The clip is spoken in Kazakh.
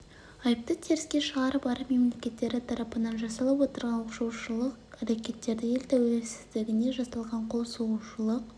айыпты теріске шығарып араб мемлекеттері татапынан жасалып отырған оқшаулаушылық әрекеттерді ел тәуелсіздігіне жасалған қол сұғушылық